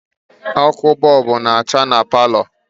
Ọkụ bọọbụ na-acha na palọ